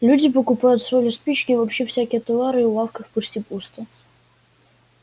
люди покупают соль и спички и вообще всякие товары и в лавках почти пусто